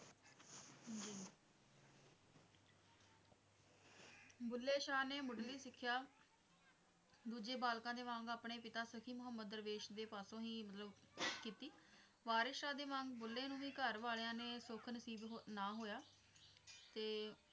ਬੁੱਲੇ ਸ਼ਾਹ ਨੇ ਮੁੱਢਲੀ ਸਿੱਖਿਆ ਦੂਜੇ ਬਾਲਕਾਂ ਦੇ ਵਾਂਗ ਆਪਣੇ ਪਿਤਾ ਸਖੀ ਮਹੁੰਮਦ ਦਰਵੇਸ਼ ਦੇ ਪਾਸੋਂ ਹੀ ਮਤਲਬ ਕੀਤੀ ਵਾਰਿਸ ਸ਼ਾਹ ਦੇ ਵਾਂਗ ਬੁੱਲੇ ਨੂੰ ਵੀ ਘਰ ਵਾਲਿਆਂ ਨੇ ਸੁੱਖ ਨਸੀਬ ਨਾ ਹੋਇਆ ਤੇ,